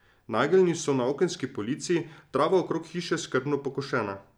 Nageljni so na okenski polici, trava okrog hiše skrbno pokošena.